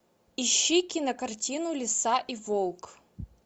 ищи кинокартину лиса и волк